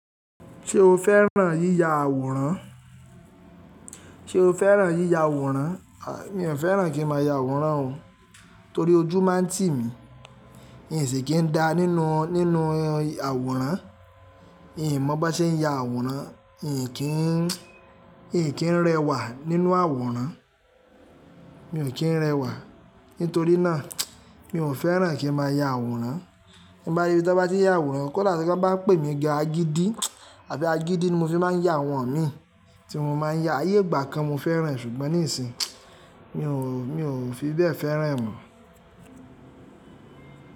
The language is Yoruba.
Ṣé o fẹ́ràn yíya àwòrán? Ṣé o fẹ́ràn yíya àwòrán? À, mi ò fẹ́ràn kí ń máa ya àwòrán o, torí ojú má ń tì mí. N sí kí ń dá nínú, nínú àwòrán. N ò mọ̀ bó ṣe ń ya àwòrán. N kì n, n kìí rẹwà nínú àwòrán. Mi ò kí ń rẹwà. Nítorí náà, mi ò fẹ́ràn kí ń má a ya àwòrán. Bí bá dé ibi tí bá ti ya àwòrán, kọ́ dá bon bá pè mí gan àgìdí àbí àgìdí ni mo fi má ń ya àwọn imi tí mo má ń ya. Ayé ìgbà kan mo fẹ́ràn ṣùgbọ́n nísìń, mi ò, mi ò fi bẹ́ fẹ́ràn mọ̀